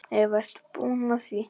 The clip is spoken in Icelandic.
Eva: Ert þú búinn að því?